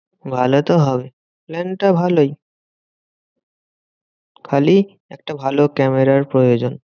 ভালোতো হবে। plan টা ভালোই খালি একটা ভালো ক্যামেরার প্রয়োজন।